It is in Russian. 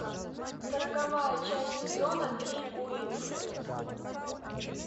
сороковая часть сезона три уилфред